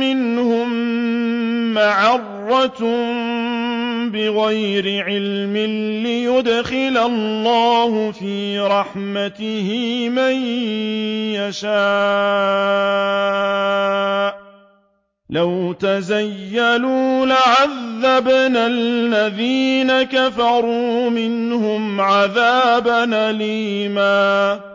مِّنْهُم مَّعَرَّةٌ بِغَيْرِ عِلْمٍ ۖ لِّيُدْخِلَ اللَّهُ فِي رَحْمَتِهِ مَن يَشَاءُ ۚ لَوْ تَزَيَّلُوا لَعَذَّبْنَا الَّذِينَ كَفَرُوا مِنْهُمْ عَذَابًا أَلِيمًا